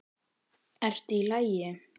Ási: ERTU Í LAGI?